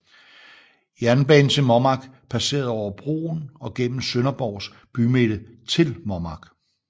Jernbanen til Mommark passerede over broen og gennem Sønderborgs bymidte til Mommark